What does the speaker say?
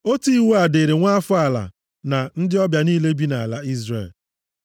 Otu iwu a dịrị nwa afọ ala na ndị ọbịa niile bi nʼala Izrel.”